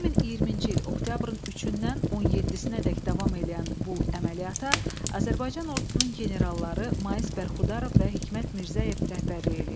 2020-ci il oktyabrın 3-dən 17-dək davam eləyən bu əməliyyata Azərbaycan Ordusunun generalları Mais Bərxudarov və Hikmət Mirzəyev rəhbərlik eləyirdi.